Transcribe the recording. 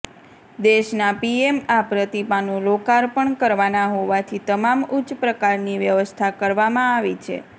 દેશના પીએમ આ પ્રતિમાનું લોકાર્પણ કરવાના હોવાથી તમામ ઉચ્ચ પ્રકારની વ્યવસ્થા કરવામાં આવી છે